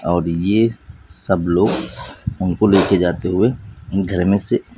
और ये सब लोग उनको लेके जाते हुए घर में से--